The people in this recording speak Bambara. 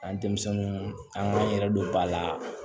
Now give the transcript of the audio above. An ye denmisɛnninw k'an yɛrɛ don ba la